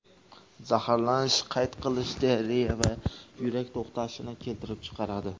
Zaharlanish qayt qilish, diareya va yurak to‘xtashini keltirib chiqaradi.